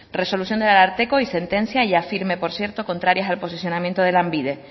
resolución del ararteko y sentencia ya firme por cierto contrarias al posicionamiento de lanbide